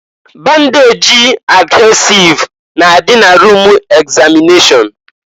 Bandejị adhesịve na-adị na rum egzamịneshọn.